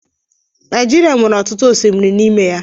Naijiria nwere ọtụtụ osimiri n'ime ya